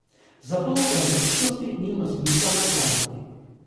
Zato o pravičnosti nima smisla nakladati.